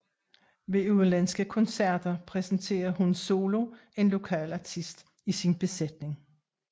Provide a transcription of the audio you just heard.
Ved udenlandske koncerter præsenterer HUN SOLO en lokal artist i sin besætning